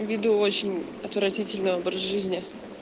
веду очень отвратительный образ жизни